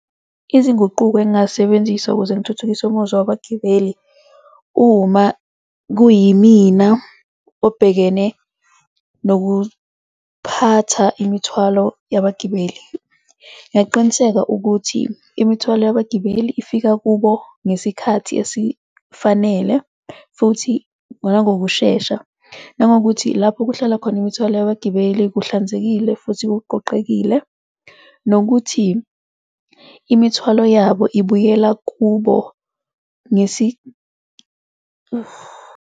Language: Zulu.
Izinguquko engingazisebenzisa ukuze ngithuthukise umuzwa wabagibeli uma kuyimina obhekene nokuphatha imithwalo yabagibeli, ngingaqiniseka ukuthi imithwalo yabagibeli ifika kubo ngesikhathi esifanele futhi, nangokushesha nangokuthi lapho kuhlala khona imithwalo yabagibeli kuhlanzekile futhi kuqoqekile nokuthi imithwalo yabo ibuyela kubo .